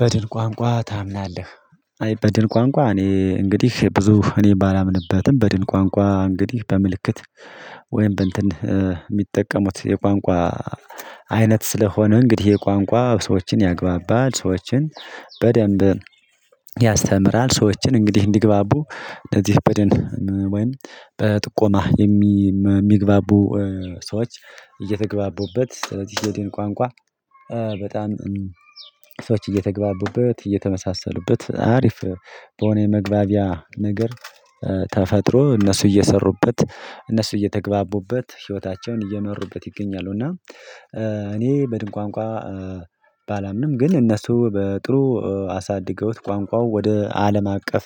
በድን ቋንቋ ታምናለህ? አይ በድን ቋንቋ እኔ እንግዲህ ብዙ እኔ ባላምንበትም በድን ቋንቋ እንግዲህ በምልክት ወይም በእንትን የሚጠቀሙት የቋንቋ አይነት ስለሆነ እንግዲህ የቋንቋ ሰዎችን ያግባባል ሰዎችን በደንብ ያስተምራል ሰዎችን እንግዲህ እንዲግባቡ እንደዚህ በድን ወይም በጥቆማ የሚግባቡ ሰዎች እየተግባቡበት ስለዚህ በድን ቋንቋ በጣም ሰዎች እየተግባቡበት እየተመሳሰሉበት አሪፍ በሆነ የመግባቢያ ነገር ተፈጥሮ እነሱ እየሰሩበት እነሱ እየተግባቡበት ህይወታቸውን እየመሩበት ይገኛሉ። እና እኔ በድን ቋንቋ ባላምንም ግን እነሱ በጥሩ አሳድገውት ቋንቋው ወደ አለም አቀፍ